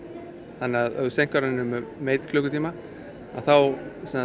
þannig að ef þú seinkar henni um einn klukkutíma að þá